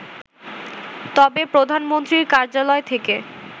তবে প্রধানমন্ত্রীর কার্যালয় থেকে